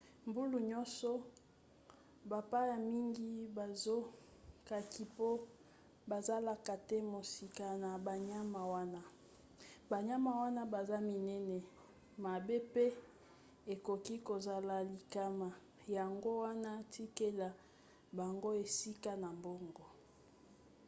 mbula nyonso bapaya mingi bazokaki mpo bazalaka te mosika na banyama wana. banyama wana baza minene mabe mpe ekoki kozala likama yango wana tikela bango esika na bango